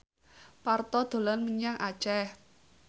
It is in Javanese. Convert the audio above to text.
Parto dolan menyang Aceh